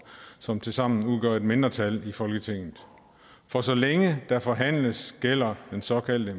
som tilsammen udgør et mindretal i folketinget for så længe der forhandles gælder den såkaldte